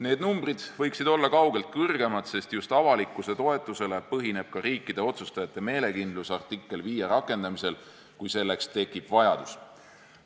Need numbrid võiksid olla palju suuremad, sest just avalikkuse toetusel põhineb ka riikide otsustajate meelekindlus artikkel 5 rakendamiseks, kui selleks peaks vajadus tekkima.